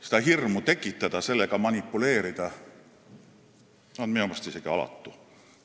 Seda hirmu tekitada, sellega manipuleerida on minu meelest isegi alatu.